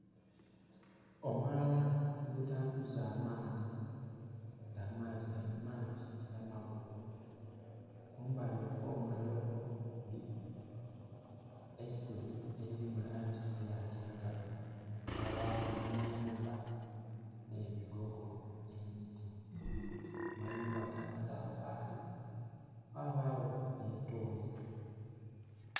omwala ogutambuza amaadhi nga amaadhi gana mangi era magubu mumbali okwomwala okwo kuliku eisubi eri mu langi yakiragala, kwabaku n'amyumba, ne bigogo, n'emiti. mayumba ga matafaali, ghabagho ni tooyi.